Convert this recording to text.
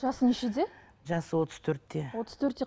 жасы нешеде жасы отыз төртте отыз төртте